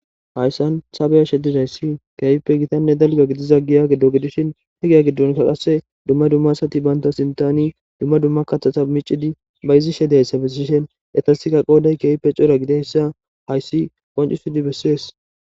hayssan ta beyashe dizayssi keype gitanne dalga gidiza giya giddo gidishin he giya giddonka qasse dumma dummasati baynta sintani dumma dumma kathata micidi bayzi she deyssa bessishen etasikka qooday keeype cora gideyssa hayssi qoncisudi bessees